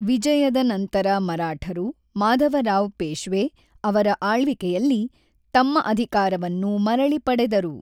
ವಿಜಯದ ನಂತರ ಮರಾಠರು ಮಾಧವರಾವ್ ಪೇಶ್ವೆ ಅವರ ಆಳ್ವಿಕೆಯಲ್ಲಿ ತಮ್ಮ ಅಧಿಕಾರವನ್ನು ಮರಳಿ ಪಡೆದರು.